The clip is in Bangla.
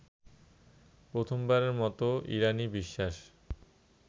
প্রথমবারের মতো ইরানী বিশ্বাস